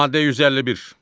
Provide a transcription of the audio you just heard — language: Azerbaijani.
Maddə 151.